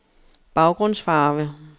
baggrundsfarve